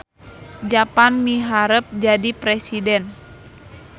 Japar miharep jadi presiden